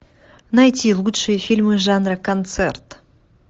найти лучшие фильмы жанра концерт